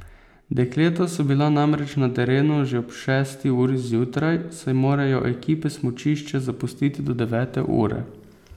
Dekleta so bila namreč na terenu že ob šesti uri zjutraj, saj morajo ekipe smučišče zapustiti do devete ure.